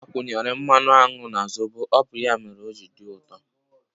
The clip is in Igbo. M gbakwunyere mmanụ aṅụ na zobo ọ bụ ya mere o ji dị ụtọ